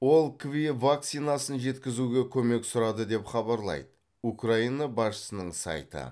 ол кви вакцинасын жеткізуге көмек сұрады деп хабарлайды украина басшысының сайты